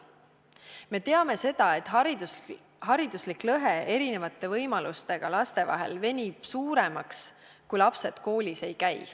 Me teame, et hariduslik lõhe erinevate võimalustega laste vahel venib suuremaks, kui lapsed koolis ei käi.